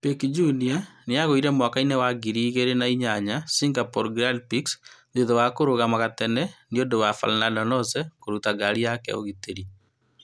Piquet Jr. nĩagũire mwakainĩ wa ngiri igĩrĩ na inyanya Singapore Grand Pix thutha wa kũrũgama gatene nĩũndũ wa Fernando Alonso , kùruta ngari ya ũgitĩri.